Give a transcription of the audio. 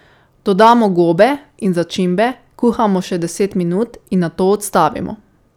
Dodamo gobe in začimbe, kuhamo še deset minut in nato odstavimo.